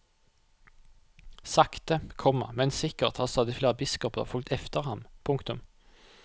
Sakte, komma men sikkert har stadig flere biskoper fulgt efter ham. punktum